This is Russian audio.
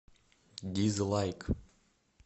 дизлайк